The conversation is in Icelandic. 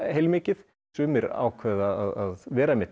heilmikið sumir ákváðu að vera